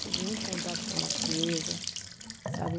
Tive muito contato com a natureza, sabe?